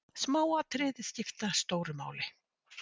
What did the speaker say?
Smáatriði skipta stóru máli.